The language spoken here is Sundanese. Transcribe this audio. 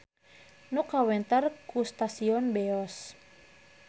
Nu kawentar ku stasiun Beos.